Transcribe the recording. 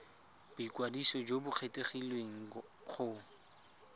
boikwadiso jo bo kgethegileng go